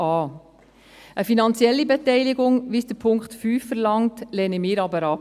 Eine finanzielle Beteiligung, wie sie Punkt 5 verlangt, lehnen wir aber ab.